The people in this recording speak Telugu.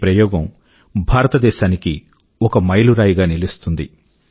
ఈ ప్రయోగం భారతదేశానికి ఒక మైలురాయిగా నిలుస్తుంది